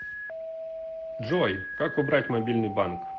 джой как убрать мобильный банк